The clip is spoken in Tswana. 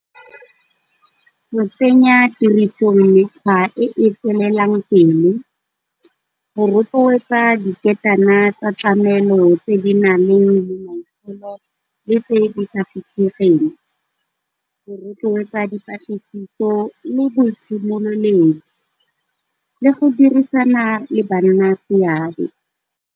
Go tsenya tiriso mekgwa e e tswelelang pele, go rotloetsa diketana tsa tsa tlamelo tse di nang le le tse di sa fitlhegeng, go rotloetsa dipatlisiso le bo itshimololedi le go dirisana le banna seabe.